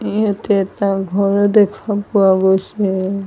ইয়াতে এটা ঘৰো দেখা পোৱা গৈছে।